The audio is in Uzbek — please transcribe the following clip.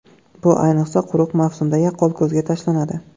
Bu, ayniqsa, quruq mavsumda yaqqol ko‘zga tashlanadi.